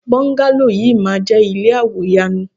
Bọ́ńgálò yìí máa jẹ́ ilé àwò yanu.